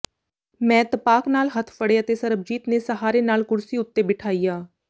ਮੈਂ ਤਪਾਕ ਨਾਲ ਹੱਥ ਫੜੇ ਅਤੇ ਸਰਬਜੀਤ ਨੇ ਸਹਾਰੇ ਨਾਲ ਕੁਰਸੀ ਉੱਤੇ ਬਿਠਾਇਆ